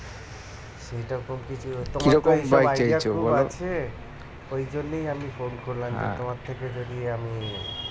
ওই জন্যই আমি phone করলাম যে তোমার থেকে যদি আমি